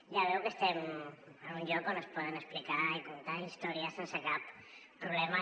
ja veu que estem en un lloc on es poden explicar i contar històries sense cap problema